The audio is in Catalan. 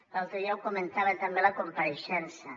l’altre dia ho comentava també en la compareixença